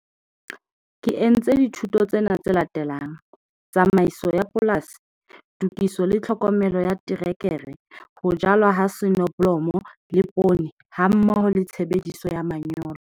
Ke entse dithuto tsena tse latelang- Tsamaiso ya Polasi, Tokiso le Tlhokomelo ya Terekere, Ho Jalwa ha Soneblomo le Poone, hammoho le Tshebediso ya Manyolo.